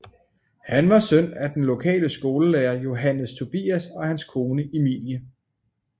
Han var søn af den lokale skolelærer Johannes Tobias og hans kone Emilie